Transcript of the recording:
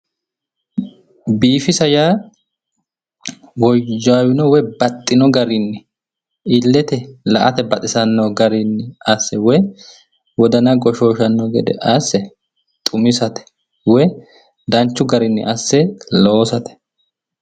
Biifisa yaa woyyaawino grinni bambino garinni illete la'ate baxisanno garinni wodana goshshooshshanno gede asse ruminate woy danchu garinni asse loosate